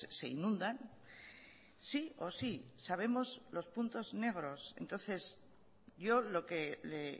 se inundan sí o sí sabemos los puntos negros entonces yo lo que le